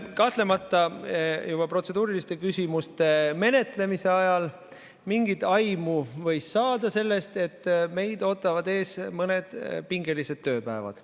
Kahtlemata juba protseduuriliste küsimuste menetlemise ajal võis mingit aimu saada sellest, et meid ootavad ees mõned pingelised tööpäevad.